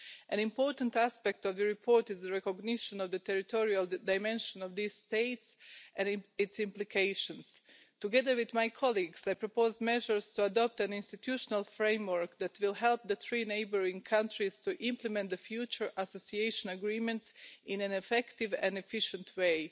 An important aspect of the report is the recognition of the territorial dimensions of these states and its implications. Together with my colleagues, I proposed measures to adopt an institutional framework that will help the three neighbouring countries to implement the future association agreements in an effective and efficient way.